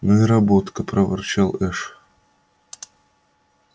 ну и работка проворчал эш